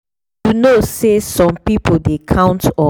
you know say some people dey count on on both belief and medicine to take feel better.